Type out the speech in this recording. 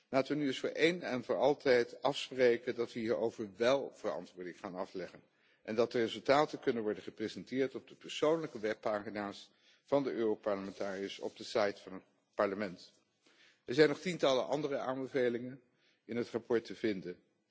Laten we nu eens voor eens en voor altijd afspreken dat we hierover wél verantwoording gaan afleggen en dat de resultaten kunnen worden gepresenteerd op de persoonlijke webpagina's van de Europarlementariërs op de site van het Parlement. Er zijn nog tientallen andere aanbevelingen in het verslag te vinden.